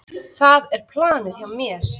Það er planið hjá mér.